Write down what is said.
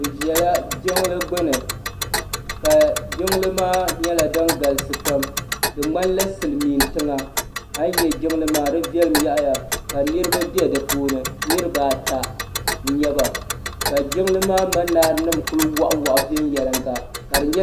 Bi ʒɛla jiŋli gbuni ka jiŋli maa nyɛla din galisi pam di ŋmani la silmiintiŋa ayi nyɛ jiŋli maa di viɛlim yaɣiya ka niriba bɛ di puuni niriba ata n nyɛba ka jiŋli maa manaara nima kuli waɣa waɣa viɛnyelinga ka di nyɛ.